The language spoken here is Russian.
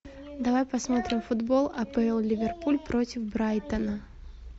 давай посмотрим футбол апл ливерпуль против брайтона